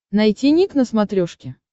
найти ник на смотрешке